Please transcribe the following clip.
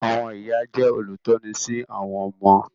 Àwọn ìyá jẹ́ olùtọ́ni sí àwọn ọmọ.